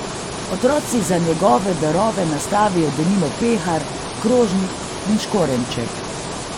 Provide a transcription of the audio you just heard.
Otroci za njegove darove nastavijo denimo pehar, krožnik in škorenjček.